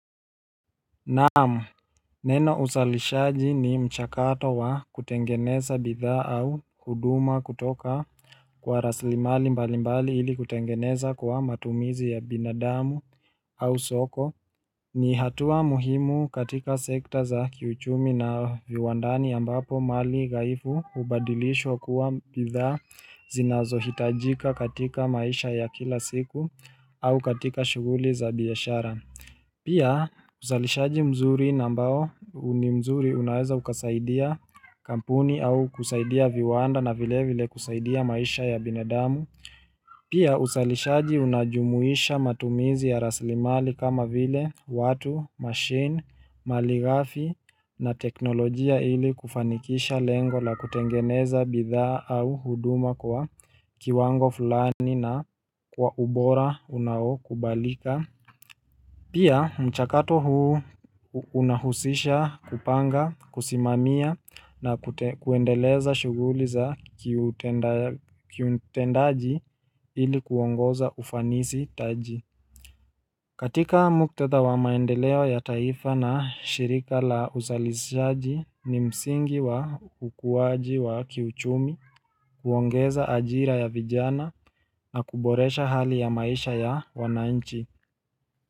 Naam Neno uzalishaji ni mchakato wa kutengeneza bidhaa au huduma kutoka kwa rasilimali mbalimbali ili kutengeneza kwa matumizi ya binadamu au soko ni hatua muhimu katika sekta za kiuchumi na viwandani ambapo mali ghaifu hubadilishwa kuwa bidhaa zinazohitajika katika maisha ya kila siku au katika shughuli za biashara Pia uzalishaji mzuri na ambao ni mzuri unaweza ukasaidia kampuni au kusaidia viwanda na vile vile kusaidia maisha ya binadamu. Pia uzalishaji unajumuisha matumizi ya rasilimali kama vile watu, mashine, malighafi na teknolojia ili kufanikisha lengo la kutengeneza bidhaa au huduma kwa kiwango fulani na kwa ubora unaokubalika. Pia mchakato huu unahusisha kupanga, kusimamia na kuendeleza shughuli za kiutendaji ili kuongoza ufanisi taji. Katika muktadha wa maendeleo ya taifa na shirika la uzalishaji ni msingi wa ukuwaji wa kiuchumi, kuongeza ajira ya vijana na kuboresha hali ya maisha ya wanainchi.